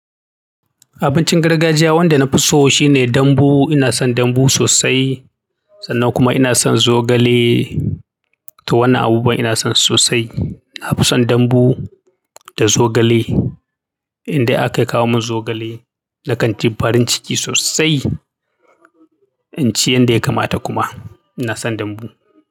Abincin gargajiya wanda na fi so, shine dambu, ina son dambu sosai sannan kuma ina son zogale. To wannan abubuwa ina son su sosai. Na fi son dambu da zogale. Indai aka kawo min zogale, na kan ji farin ciki sosai. In ci yanda ya kamata kuma. Ina son dambu.